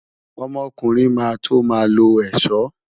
Ọmọkùnrin máa tó máa lo ẹ̀ṣọ́.